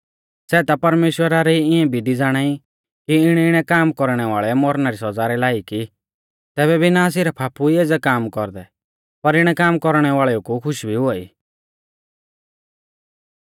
सै ता परमेश्‍वरा री इऐं विधी ज़ाणाई कि इणैइणै काम कौरणै वाल़ै मौरणा री सौज़ा रै लायक ई तैबै भी ना सिरफ आपु ई एज़ै काम कौरदै पर इणै काम कौरणै वाल़ेऊ कु खुश भी हुआई